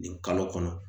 Nin kalo kɔnɔ